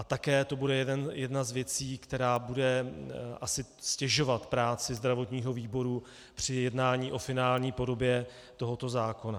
A také to bude jedna z věcí, která bude asi ztěžovat práci zdravotního výboru při jednání o finální podobě tohoto zákona.